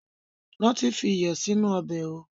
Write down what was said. Ránti fi iyọ̀ sì inú ọbẹ̀ ó!